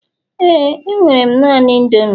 éè, enwere m naanị indomie